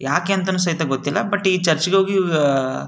ಯಾಕೆ ಅಂತ ಸಹಿತ ಗೊತ್ತಿಲ್ಲ ಬಟ್ ಈ ಚರ್ಚಿಗ್ ಹೋಗಿ --